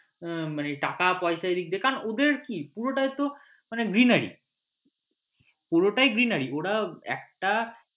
উম মানে টাকাপয়সা এদিক দিয়ে কারণ ওদের কি পুরোটাই তো মানে greenery পুরোটাই greenery ওরা একটা